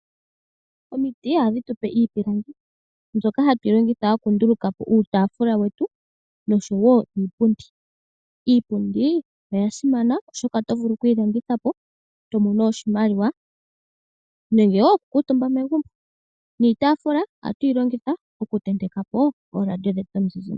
Omiti ohadhi tupe iipilangi mbyoka hatu yilongitha okundulukapo uutafula wetu nosho iipundi, Iipundi oyasimana oshoka oto vulu okuyi landithapo tomono oshimaliwa nenge wo okukutumba megumbo niitafula oha tuyilongitha oku tentekapo oradio dhetu dhomizizimbe.